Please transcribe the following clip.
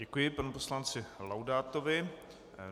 Děkuji panu poslanci Laudátovi.